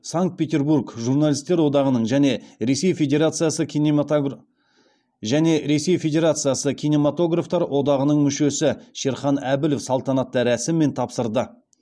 санкт петербург журналистер одағының және ресей федерациясы кинематографтар одағының мүшесі шерхан әбілов салтанатты рәсіммен тапсырды